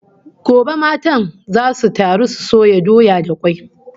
Gobe matan zasu taru su soya doya da kwai